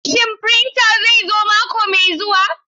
Shin printer zai zo mako mai zuwa?